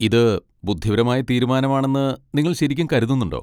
ഇത് ബുദ്ധിപരമായ തീരുമാനമാണെന്ന് നിങ്ങൾ ശരിക്കും കരുതുന്നുണ്ടോ?